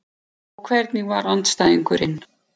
Og hvernig var andstæðingurinn?